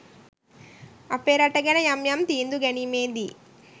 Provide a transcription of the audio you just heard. අපේ රට ගැන යම් යම් තීන්දු ගැනීමේදී